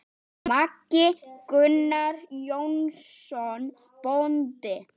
Maki: Gunnar Jónsson bóndi.